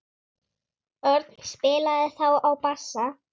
Örn spilaði þá á bassa.